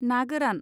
ना गोरान